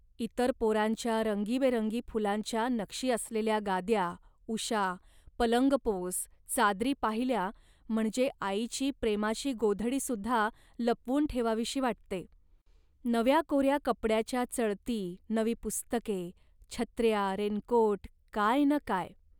इतर पोरांच्या रंगीबेरंगी फुलांच्या नक्षी असलेल्या गाद्या, उशा, पलंगपोस, चादरी पाहिल्या म्हणजे आईची प्रेमाची गोधडीसुद्धा लपवून ठेवावीशी वाटते. नव्या कोऱ्या कपड्याच्या चळती, नवी पुस्तके, छत्र्या रेनकोट, काय न काय